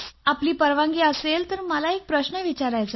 आपली परवानगी असेल तर मला एक प्रश्न विचारायचा आहे